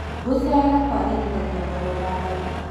Gũcera kwagĩrithagia ngoro na mbaru